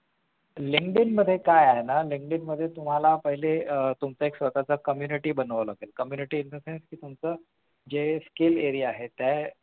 Linkdin मध्ये काय आहे ना Linkdin मध्ये तुम्हाला पहिले आह तुमचा एक स्वतःचा community बनवावं लागेल community in the sense म्हणजे तुमचं जे skill area आहेत त्या